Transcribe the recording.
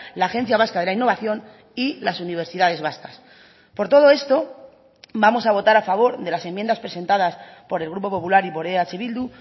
la agencia vasca de la innovación y las universidades vascas por todo esto vamos a votar a favor de las enmiendas presentadas por el grupo popular y por eh bildu